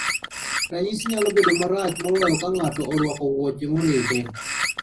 Ranyisi nyalo bedo marach moloyo ka ng'ato orwako wuoche moride.